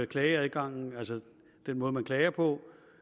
klageadgangen og den måde man klager på